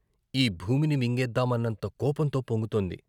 ఈ భూమిని మింగేద్దామన్నంత కోపంతో పొంగుతోంది.